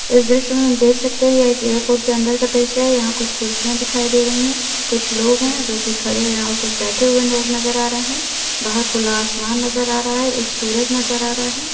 इस दृश्य मे हम देख सकते हैं या एक एयरपोर्ट के अंदर का दृश्य हे यहां कुछ कुर्सिया दिखाई दे रही है कुछ लोग हैं जो की खड़े हैं और कुछ बैठे हुए लोग नजर आ रहें हैं बाहर खुला आसमान नजर आ रहा है एक सूरज नजर आ रहा है।